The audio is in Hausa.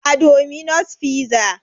A dominos fiza